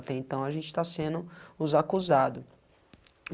Até então a gente está sendo os acusado.